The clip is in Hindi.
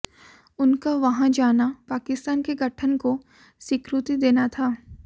उनका वहां जाना पाकिस्तान के गठन को स्वीकृति देना था